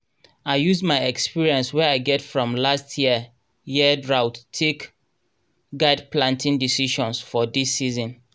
i use my experience wey i get from last year year drought take guide planting decisions for dis season